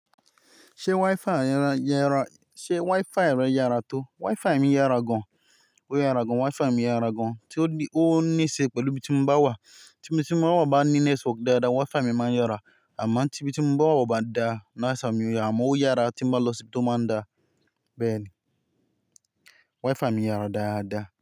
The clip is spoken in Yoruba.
Ṣé Wi-Fi rẹ yára tó? Wi-Fi mi yára gan. Ó yára gan. Wi-Fi mi yára gan. Tí ó níṣe pẹ̀lú ibi tí mo bá wà. Tí biti mo bá wà ní network dáadáa, Wi-Fi mi máa ń yára. Àmọ́ tí ibi tí mo bá wà ò bá dáa, mi ò yára. Àmọ́ ó yára tí mo bá lọ sí ibi tó báa ń dáa. Bẹ́ẹ̀ ni. Wi-Fi mi yára dáadáa.